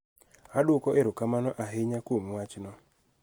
Adwoko erokamano ahinya kuom wachno